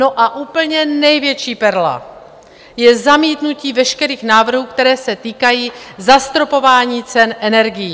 No a úplně největší perla je zamítnutí veškerých návrhů, které se týkají zastropování cen energií.